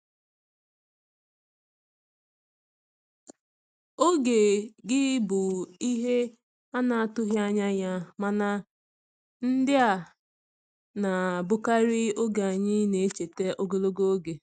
Oge gị bụ ihe a na-atụghị anya ya, mana ndị a na-abụkarị oge anyị na-echeta ogologo oge.